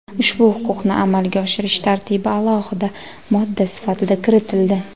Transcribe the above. ushbu huquqni amalga oshirish tartibi alohida modda sifatida kiritildi.